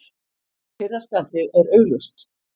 Fyrra spjaldið er augljóst.